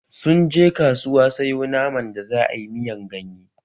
Sun je kasuwa sayo naman da za'a yi miyan ganye